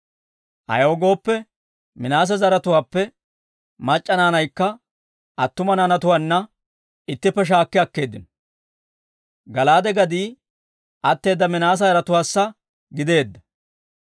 Ayaw gooppe, Minaase zaratuwaappe mac'c'a naanaykka attuma naanatuwaanna ittippe shaakki akkeeddino. Gala'aade gadii atteeda Minaase yaratuwaassa gideedda.